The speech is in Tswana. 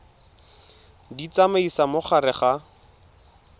di tsamaisa mo gare ga